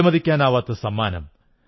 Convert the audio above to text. വിലമതിക്കാനാവാത്ത സമ്മാനം